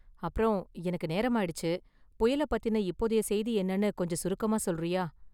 அப்பறம், எனக்கு நேரமாயிடுச்சு, புயலை பத்தின இப்போதைய செய்தி என்னனு கொஞ்சம் சுருக்கமா சொல்றியா?